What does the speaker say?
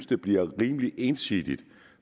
det bliver rimelig ensidigt